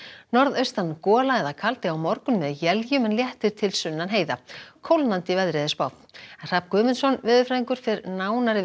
norðaustan gola eða kaldi á morgun með éljum en léttir til sunnan heiða kólnandi veður Hrafn Guðmundsson veðurfræðingur fer nánar yfir